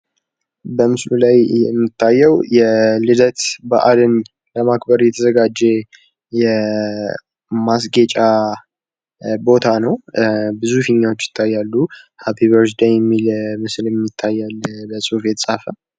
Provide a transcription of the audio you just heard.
በምስሉ ላይ የሚታየው የልደት በአልን ለማክበር የተዘጋጀ የማስጌጫ ቦታ ነው። ብዙ ፊኛዎች ይታያሉ። ሀፒ በርዝ ደይ የሚል ምስልም ይታያል በጽሑፍ የተጻፈ።